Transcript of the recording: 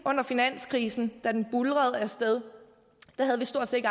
finanskrisen da det buldrede af sted havde vi stort set